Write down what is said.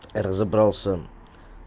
разобрался